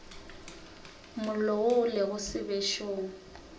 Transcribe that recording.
mollo wo o lego sebešong